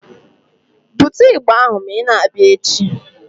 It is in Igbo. Bute ịgbà ahụ ma ị na-abịa echi!